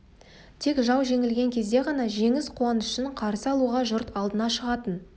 тек жау жеңілген кезде ғана жеңіс қуанышын қарсы алуға жұрт алдына шығатын